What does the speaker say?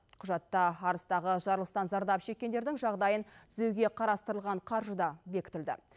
құжатта арыстағы жарылыстан зардап шеккендердің жағдайын түзеуге қарастырылған қаржы да бекітілді